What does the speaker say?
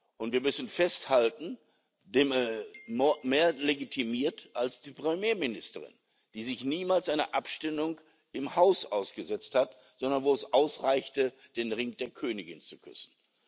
Und wir müssen festhalten, mehr legitimiert als die Premierministerin, die sich niemals einer Abstimmung im Haus ausgesetzt hat, sondern wo es ausreichte, den Ring der Königin zu küssen.